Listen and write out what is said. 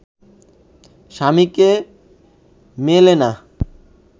স্বামীকে মেলে না